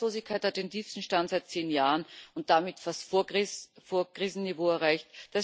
Die Arbeitslosigkeit hat den tiefsten Stand seit zehn Jahren und damit fast Vorkrisenniveau erreicht.